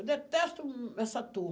Eu detesto essa